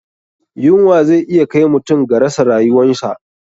Yunwa zai iya kai mutum ga rasa ryuwansa.